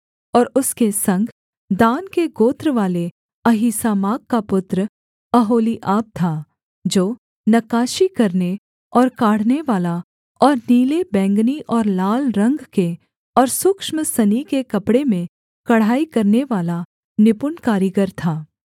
और उसके संग दान के गोत्रवाले अहीसामाक का पुत्र ओहोलीआब था जो नक्काशी करने और काढ़नेवाला और नीले बैंगनी और लाल रंग के और सूक्ष्म सनी के कपड़े में कढ़ाई करनेवाला निपुण कारीगर था